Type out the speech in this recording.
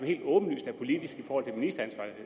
helt åbenlyst er politisk